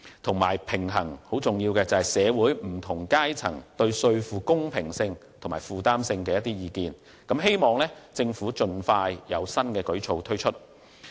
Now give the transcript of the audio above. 此外，還有很重要的是，平衡社會不同階層對稅負公平性和負擔性的意見，希望政府會盡快推出新舉措。